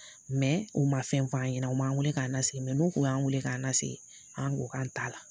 u ma fɛn f'an ɲɛna u m'an weele k'a nasigi n'u kun y'an weele k'an nasigi, an ko k'an ta la.